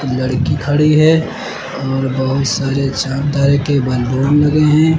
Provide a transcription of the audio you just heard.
लड़की खड़ी है और बहुत सारे चांद तारे के बैलून लगे हैं।